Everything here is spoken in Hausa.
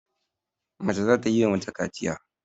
Mace za ta yi wa mace kaciya.